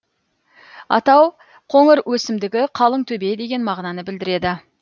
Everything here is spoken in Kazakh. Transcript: атау қоңыр өсімдігі қалың төбе деген мағынаны білдіреді